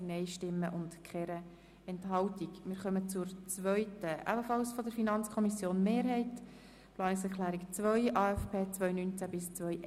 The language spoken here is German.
Wir kommen zur zweiten Planungserklärung, die ebenfalls von der FiKo-Mehrheit stammt, betreffend den AFP 2019– 2021.